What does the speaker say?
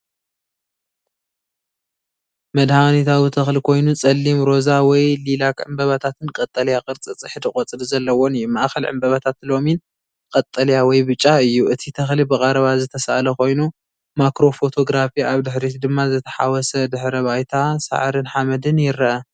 መድሃኒታዊ ተኽሊ ኮይኑ ጸሊም ሮዛ ወይ ሊላክ ዕምባባታትን ቀጠልያ ቅርጺ ጽሕዲ ቆጽሊ ዘለዎን እዩ። ማእከል ዕምባባታት ለሚን ቀጠልያ/ብጫ እዩ። እቲ ተኽሊ ብቐረባ ዝተሳእለ ኮይኑ (ማክሮ ፎቶግራፊ) ኣብ ድሕሪት ድማ ዝተሓዋወሰ ድሕረ ባይታ ሳዕርን ሓመድን ይርአ።